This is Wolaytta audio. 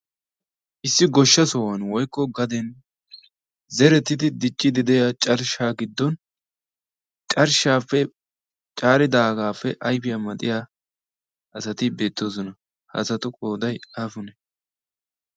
issi goshsha sohuwan woykko gaden zeretiti diccidi de'iya carshsha giddon carshshaae caaridaagaappe ayfiyaa maxiya asati beettoosona. haasatu qooday aapune?